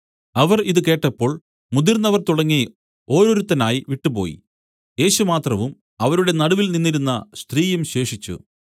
അവർ ഇതു കേട്ടപ്പോൾ മുതിർന്നവർ തുടങ്ങി ഓരോരുത്തനായി വിട്ടുപോയി യേശു മാത്രവും അവരുടെ നടുവിൽ നിന്നിരുന്ന സ്ത്രീയും ശേഷിച്ചു